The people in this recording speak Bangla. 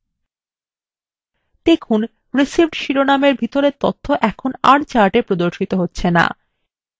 দেখুন received শিরোনামের ভিতরের তথ্য এখন আর chartএ প্রদর্শিত হচ্ছে no